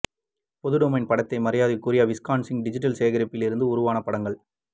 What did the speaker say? பொது டொமைன் படத்தை மரியாதைக்குரிய விஸ்கான்சின் டிஜிட்டல் சேகரிப்பில் இருந்து உருவான படங்கள்